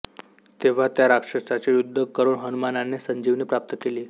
तेव्हा त्या राक्षसाशी युद्ध करून हनुमानाने संजीवनी प्राप्त केली